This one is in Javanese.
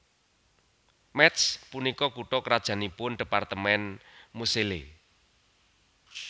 Métz punika kutha krajannipun dhépartemèn Moselle